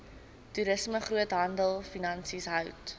toerisme groothandelfinansies hout